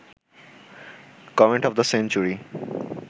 comet of the century